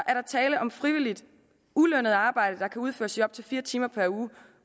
er der tale om frivilligt ulønnet arbejde der kan udføres i op til fire timer per uge